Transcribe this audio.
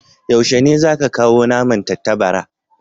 Yaushe ne za ka kawo naman tattabara?